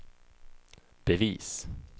bevis